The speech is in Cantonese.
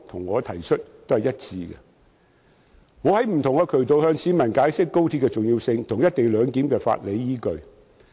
我曾透過不同渠道向市民解釋高鐵的重要性和"一地兩檢"的法理依據。